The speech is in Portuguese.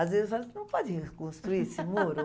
Às vezes não pode reconstruir esse muro?